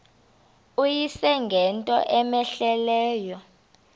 uyise ngento cmehleleyo